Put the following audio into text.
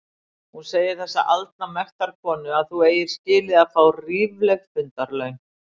Hún segir þessi aldna mektarkona að þú eigir skilið að fá rífleg fundarlaun!